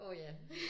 Åh ja